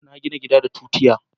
na gina gida da tutiya